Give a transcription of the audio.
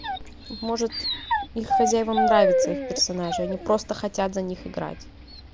может их хозяевам нравятся их персонажи они просто хотят за них играть